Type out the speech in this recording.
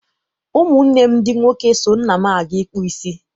Ụmụ nne m ndị nwoke so nna m aga ịkpụ isi.